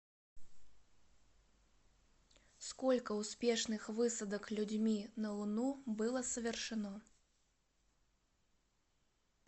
сколько успешных высадок людьми на луну было совершено